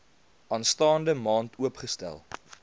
aanstaande maand oopgestel